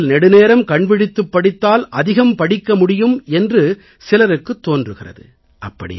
இரவில் நெடுநேரம் கண்விழித்துப் படித்தால் அதிகம் படிக்க முடியும் என்று சிலருக்குத் தோன்றுகிறது